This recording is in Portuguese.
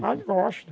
Mas gosto.